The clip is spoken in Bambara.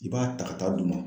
I b'a ta ka taa d'u ma.